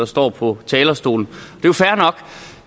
står på talerstolen